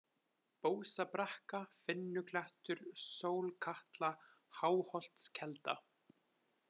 Bósabrekka, Finnuklettur, Sólkatla, Háholtskelda